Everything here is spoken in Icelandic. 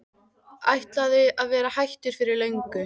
Ætlaði að vera hættur fyrir löngu.